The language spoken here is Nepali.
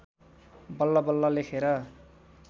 बल्ल बल्ल लेखेर